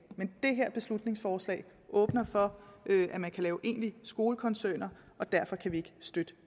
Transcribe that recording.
men det her beslutningsforslag åbner for at man kan lave egentlige skolekoncerner og derfor kan vi ikke støtte